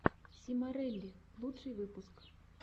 симорелли лучший выпуск